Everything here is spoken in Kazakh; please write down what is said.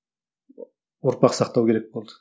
ұрпақ сақтау керек болды